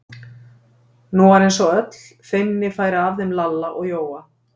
Nú var eins og öll feimni færi af þeim Lalla og Jóa.